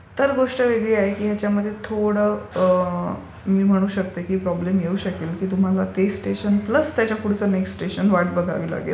तर गोष्ट वेगळी आहे. थोडा मी म्हणते की प्रॉब्लेम येऊ शकेल. तुम्हाला ते स्टेशन प्लस पुढचं स्टेशन वाट बघावी लागेल.